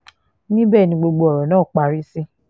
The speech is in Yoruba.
níbẹ̀ ni gbogbo ọ̀rọ̀ náà parí sí